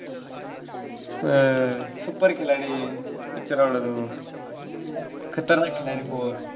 अं Super खिलाडी picture आवडतो. खतरनाक खिलाडी four